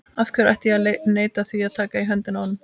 Af hverju ætti ég að neita því að taka í höndina á honum?